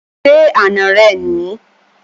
Ṣé àna rẹ ni?